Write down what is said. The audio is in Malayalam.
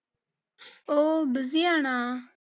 ഓ busy ആണ?